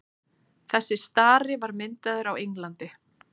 þessi stari var myndaður á englandi